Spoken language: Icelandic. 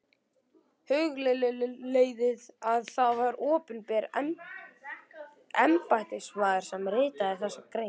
Hugleiðið að það var opinber embættismaður sem ritaði þessa grein.